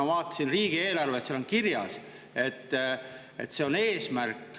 Ma vaatasin riigieelarvet, seal on kirjas, et see on eesmärk …